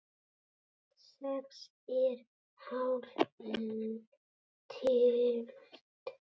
Sex er hálf tylft.